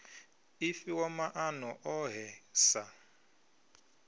i fhiwa maana ohe sa